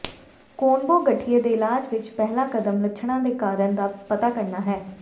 ਕੋਨਬੋ ਗਠੀਏ ਦੇ ਇਲਾਜ ਵਿਚ ਪਹਿਲਾ ਕਦਮ ਲੱਛਣਾਂ ਦੇ ਕਾਰਨ ਦਾ ਪਤਾ ਕਰਨਾ ਹੈ